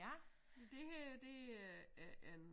Ja men det her det er er en